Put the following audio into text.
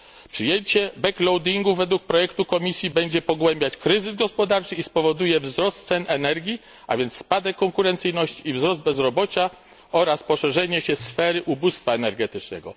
Przyjęcie backloadingu według projektu Komisji będzie pogłębiać kryzys gospodarczy i spowoduje wzrost cen energii, a więc spadek konkurencyjności i wzrost bezrobocia oraz poszerzenie się sfery ubóstwa energetycznego.